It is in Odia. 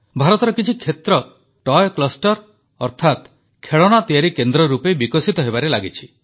ଭାରତର କିଛି କ୍ଷେତ୍ର ଟୟ୍ କ୍ଲଷ୍ଟର ଅର୍ଥାତ ଖେଳଣା ତିଆରି କେନ୍ଦ୍ର ରୂପେ ବିକଶିତ ହେବାରେ ଲାଗିଛନ୍ତି